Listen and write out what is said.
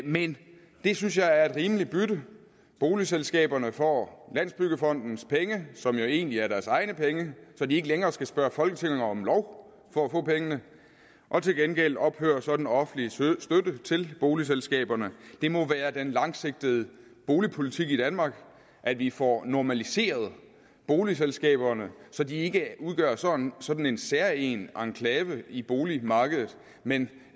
men det synes jeg er et rimeligt bytte boligselskaberne får landsbyggefondens penge som jo egentlig er deres egne penge så de ikke længere skal spørge folketinget om lov for at få pengene og til gengæld ophører så den offentlige støtte til boligselskaberne det må være den langsigtede boligpolitik i danmark at vi får normaliseret boligselskaberne så de ikke udgør sådan sådan en særegen enklave i boligmarkedet men